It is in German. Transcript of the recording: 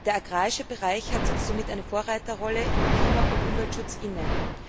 Der agrarische Bereich hat somit eine Vorreiterrolle im Klima und Umweltschutz inne.